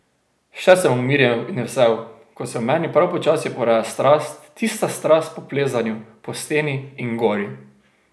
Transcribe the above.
Še sem umirjen in vesel, ko se v meni prav počasi poraja strast, tista strast po plezanju, po steni in gori.